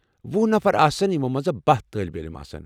وُہ نفر آسَن، یِمَو مَنٛز باہ طٲلبہِ علم آسَن ۔